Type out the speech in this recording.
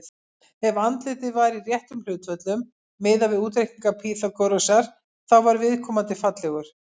Ef andlitið var í réttum hlutföllum, miðað við útreikninga Pýþagórasar, þá var viðkomandi fallegur.